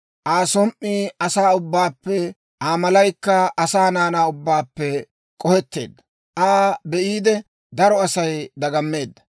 Aa som"ii asaa ubbaawaappe, Aa malaykka asaa naanaa ubbaappe k'oheteedda; Aa be'iide, daro Asay dagammeedda.